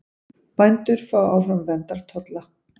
Bændur fái áfram verndartolla